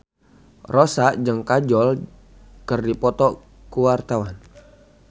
Rossa jeung Kajol keur dipoto ku wartawan